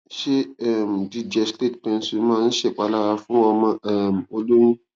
ṣé um jíjẹ slate pencil máa ń ṣèpalára fún ọmọ um o lóyún